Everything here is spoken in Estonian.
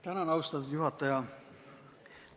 Tänan, austatud juhataja!